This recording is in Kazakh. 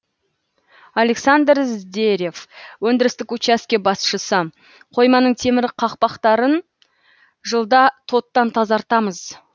александр здерев өндірістік участке басшысы қойманың темір қақпақтарын жылда тоттан тазартамыз